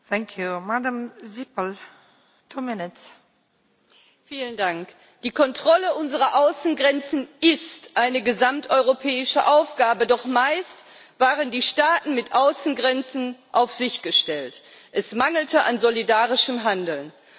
Frau Präsidentin! Die Kontrolle unserer Außengrenzen ist eine gesamteuropäische Aufgabe, doch meist waren die Staaten mit Außengrenzen auf sich gestellt es mangelte an solidarischem Handeln.